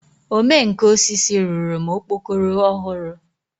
Ome nka osisi rụrụ m okpokoro ọhụrụ.